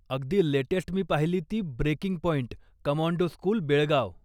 अगदी लेटेस्ट मी पाहिली ती 'breaking point, commando school, Belgaum.'